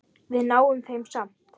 Við náum þeim samt!